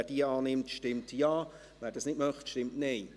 Wer diese annimmt, stimmt Ja, wer dies nicht möchte, stimmt Nein.